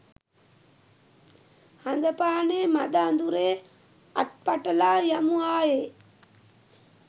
හඳපානේ මද අඳුරේ අත් පටලා යමු ආයේ